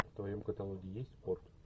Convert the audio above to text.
в твоем каталоге есть спорт